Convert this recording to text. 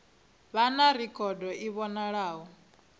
vha na rekhodo i vhonalaho